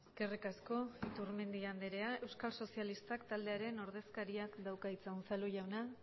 eskerrik asko iturmendi andrea euskal sozialistak taldearen ordezkariak dauka hitza unzalu jauna